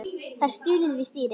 Það er stunið við stýrið.